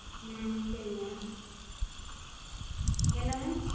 ஹம் சேரிங்க. என்னங்க?